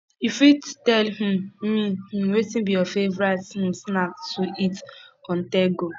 you fit tell um me um wetin be your favorite um snacks to eat onthego